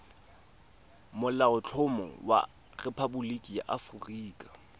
molaotlhomo wa rephaboliki ya aforika